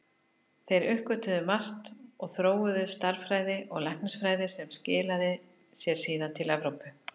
Þeir uppgötvuðu margt og þróuðu stærðfræði og læknisfræði sem skilaði sér síðar til Evrópu.